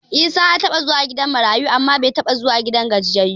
Isa ya taɓa zuwa gidan marayu amma bai taɓa zuwa gidan gajiyayyu ba.